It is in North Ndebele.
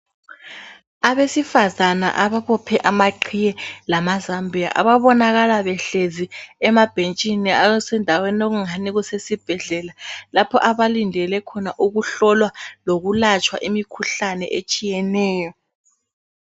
Abesifazana ababophe amaqhiye lamazambiya ababonakala behlezi emabhentshini esendaweni okungani kusesibhedlela lapho abalindele khona ukuhlolwa lokulatshwa imikhuhlane etshiyeneyo.